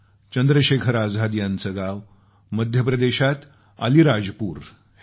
चंद्रशेखर आझाद यांचं गाव मध्यप्रदेशातल्या अलीराजपूर हे आहे